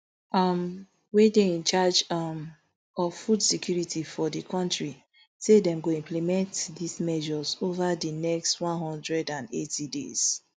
um wey dey in charge um of food security for di kontri say dem go implement these measures ova di next one hundred and eighty days